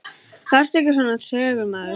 Vertu ekki svona tregur, maður!